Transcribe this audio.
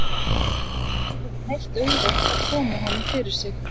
Og það hafði ekki verið neitt auðvelt að koma honum fyrir sig.